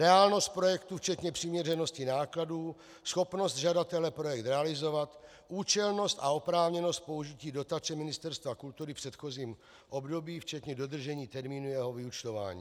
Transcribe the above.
Reálnost projektu včetně přiměřenosti nákladů, schopnost žadatele projekt realizovat, účelnost a oprávněnost použití dotace Ministerstva kultury v předchozím období, včetně dodržení termínu jeho vyúčtování.